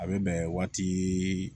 A bɛ bɛn waati